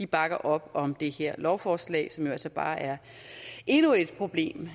bakker op om det her lovforslag som jo altså bare er endnu et problem